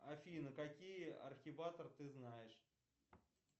афина какие архиваторы ты знаешь